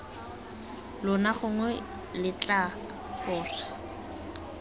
lona gongwe b letlang gore